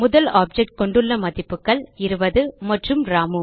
முதல் ஆப்ஜெக்ட் கொண்டுள்ள மதிப்புகள் 20 மற்றும் ராமு